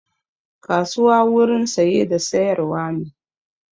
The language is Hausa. Kasuwa wurin saye da sayar wa ne